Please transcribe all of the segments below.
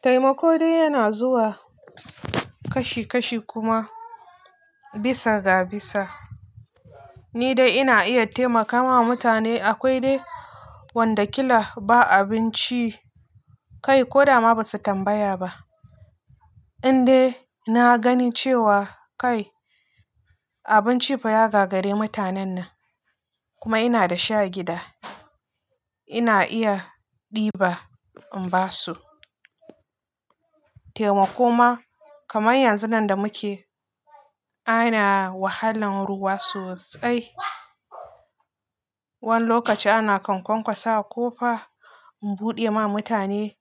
Taimako dai yana zuwa kashi kashi kuma bisa ga bisa. Ni dai ina iya taimaka ma mutane akwai dai wanda kila ba abinci kai ko da ma basu tambaya ba. Indai na gani cewa kai abinci fa ya gagari mutanen nan kuma ina da sha gida, ina iya ɗiba in ba su. Taimako ma kamar yanzun nan da muke, ana wahalan ruwa sosai. Wani lokaci ana kankankwasawa ƙofa in buɗe ma mutane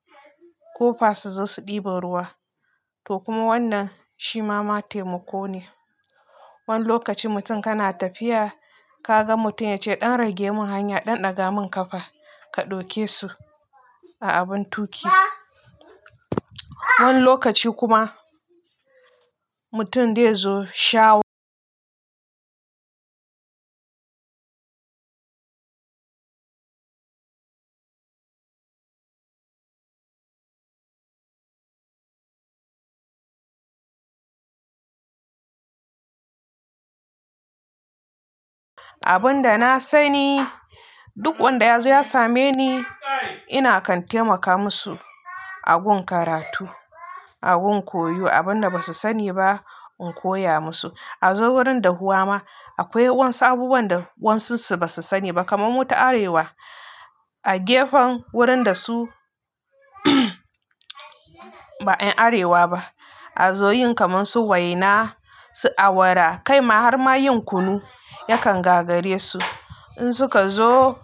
ƙofa su zo su ɗiba ruwa. To kuma wannan shi ma ma taimako ne. Wani lokaci mutum kana tafiya ka ga mutum ya ce ɗan rage mun hanya, ɗan ɗaga mun ƙafa, ka ɗauke su a abun tuƙi. Wani lokaci kuma mutum dai ya zo sha wa. Abin da na sani duk wanda ya zo ya same ni ina kan taimaka musu a gun karatu, a gun koyo abin da basu sani ba in koya musu. A zo wurin dahuwa ma akwai wasu abubuwan da wasu su basu sani ba kamar mu ta arewa a gefen wurin da su ba 'yan arewa ba a zo yin kamar su waina, su awara kai ma har ma yin kunu yakan gagare su. In suka zo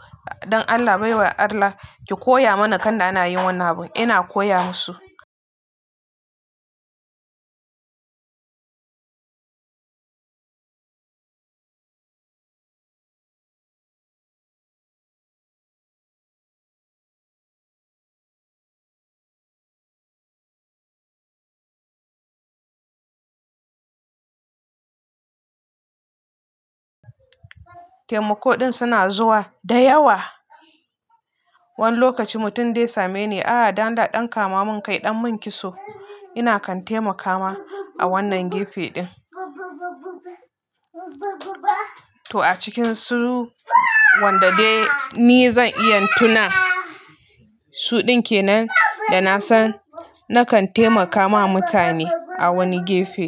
don Allah baiwa Allah ki koya mana kanda ana yin wannan abun ina koya musu. Taimako din suna zuwa da yawa. Wani lokaci mutum dai ya same ni a'a dan da ɗan kama mun kai ɗan mun kitso ina kan taimaka ma a wannan gefe din. To a cikin su wanda dai ni zan iya tuna su din ke nan da na san na kan taimaka ma mutane a wani gefe.